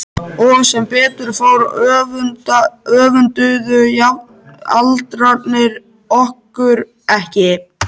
Og sem betur fór öfunduðu jafnaldrarnir okkur ekki.